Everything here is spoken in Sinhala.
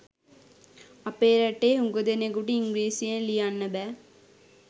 අපේ රටේ හුඟ දෙනෙකුට ඉංග්‍රීසියෙන් ලියන්න බෑ.